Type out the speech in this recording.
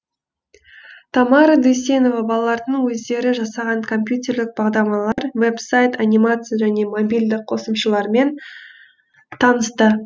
тамара дүйсенова балалардың өздері жасаған компьютерлік бағдарламалар веб сайт анимация және мобильдік қосымшалармен танысты